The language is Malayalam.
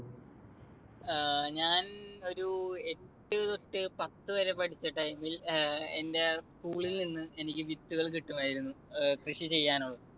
അഹ് ഞാൻ ഒരു എട്ടു തൊട്ട് പത്തുവരെ പഠിച്ച time ൽ എന്റെ school ൽ നിന്ന് എനിക്ക് വിത്തുകൾ കിട്ടുമായിരുന്നു ഏർ കൃഷി ചെയ്യാനുള്ള